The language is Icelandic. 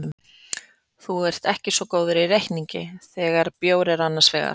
Þú ert ekki svo góður í reikningi þegar bjór er annars vegar.